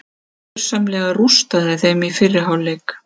Hann gersamlega rústaði þeim í fyrri hálfleik.